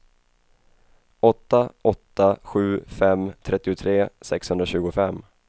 åtta åtta sju fem trettiotre sexhundratjugofem